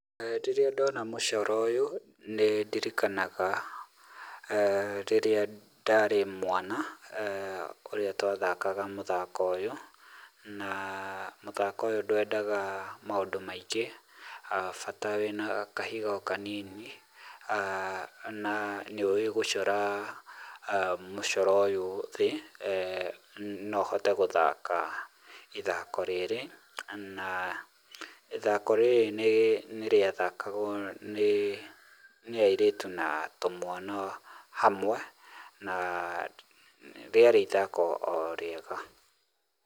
Rĩrĩa ndona mũcoro ũyũ, nĩ ndirikanaga rĩrĩa ndarĩ mwana, ũrĩa twathakaga mũthako ũyũ. Na mũthako ũyũ ndwendaga maũndũ maingĩ, bata wĩna kahiga o kanini na nĩ ũĩ gũcora mũcoro ũyũ thĩ, no ũhote gũthaka ithako rĩrĩ, na ithako rĩrĩ nĩ rĩathakagwo nĩ airĩtu na tũmwana hamwe na rĩarĩ ithako o rĩega.